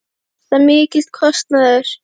Er þetta mikill kostnaður?